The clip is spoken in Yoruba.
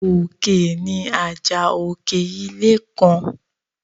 Òkè ni àjà òkè ilé kan.